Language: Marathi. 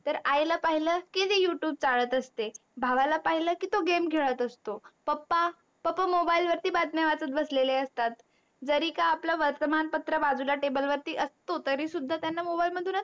तर आईला पाहिल की ते youtube चाळत असते, भावाला पाहिल की तो game खेळत असतो, पप्पा, पप्पा mobile वरती बातम्या वाचत बसलेले असतात. जरी का आपला वर्तमान पत्र बाजूला टेबल वरती असतो तरी सुद्धा त्यांना mobile मधूनच तर